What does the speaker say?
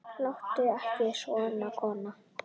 Láttu ekki svona, kona.